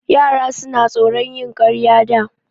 Yara suna tsoron yin ƙarya da.